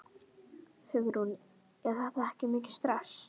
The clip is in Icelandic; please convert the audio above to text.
Hugrún: En er þetta mikið stress?